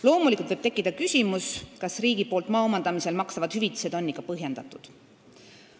Loomulikult võib tekkida küsimus, kas riigi poolt maa omandamisel makstavad hüvitised on ikka põhjendatud.